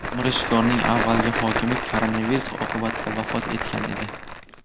Mirishkorning avvalgi hokimi koronavirus oqibatida vafot etgan edi.